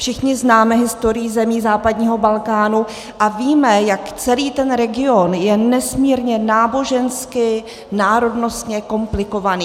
Všichni známe historii zemí západního Balkánu a víme, jak celý ten region je nesmírně nábožensky, národnostně komplikovaný.